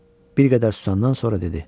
Bir qədər susandan sonra dedi.